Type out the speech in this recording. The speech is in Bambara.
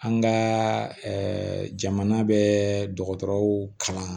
An ka jamana bɛ dɔgɔtɔrɔw kalan